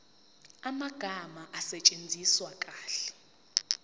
amagama asetshenziswe kahle